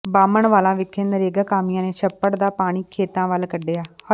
ਬਾਹਮਣਵਾਲਾ ਵਿਖੇ ਨਰੇਗਾ ਕਾਮਿਆਂ ਨੇ ਛੱਪੜ ਦਾ ਪਾਣੀ ਖੇਤਾਂ ਵੱਲ ਕੱਢਿਆ